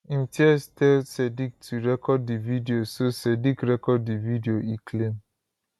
imtiaz tell sadiq to record di video so sadiq record di video e claim